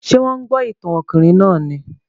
Ṣé wọ́n ń gbọ́ ìtàn ọkùnrin náà ni?